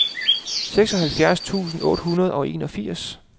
seksoghalvtreds tusind otte hundrede og enogfirs